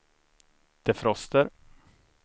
defroster